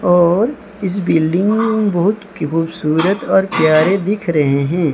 और इस बिल्डिंग बहोत खूबसूरत और प्यारे दिख रहे है।